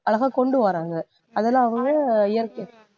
அழகா கொண்டு வர்றாங்க அதில அவங்க இயற்கை